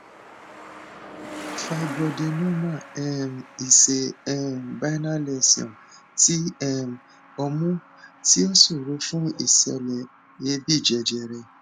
fibroadenoma um is a um benign lesion ti um omu tí ó ṣòro fún ìṣẹlẹ èébí jejere